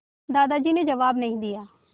दादाजी ने जवाब नहीं दिया